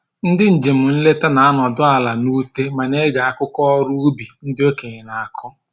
Ndị njem nleta na-anọdụ ala n'ute ma na-ege akụkọ ọrụ ubi ndị okenye na-akọ